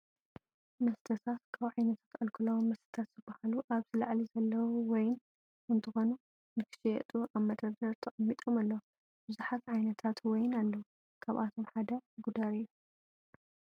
መስተታት፦ ካብ ዓይነታት ኣልኮላዊ መስተታት ዝበሃሉ ኣብዚ ላዕሊ ዘለው ወይን እንትኮኑ ንክሽየጡ ኣበ መደርደሪ ተቀሚጦም ኣለው። ብዙሓት ዓይነታት ዋይን ኣለው። ካብኣቶም ሓደ ጉደር እዩ።